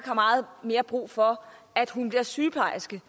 har meget mere brug for at man bliver sygeplejerske